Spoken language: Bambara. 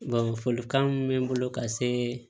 folikan min bɛ n bolo ka se